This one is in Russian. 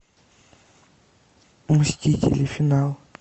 мстители финал